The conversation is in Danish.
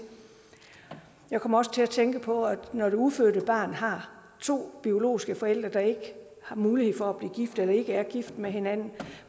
jeg kommer også til at tænke på når det ufødte barn har to biologiske forældre der ikke har mulighed for at blive gift eller ikke er gift med hinanden